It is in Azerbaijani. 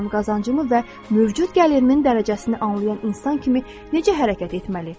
qazancımı və mövcud gəlirimin dərəcəsini anlayan insan kimi necə hərəkət etməli?